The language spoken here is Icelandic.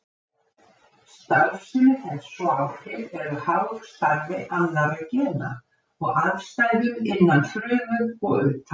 Starfsemi þess og áhrif eru háð starfi annarra gena og aðstæðum innan frumu og utan.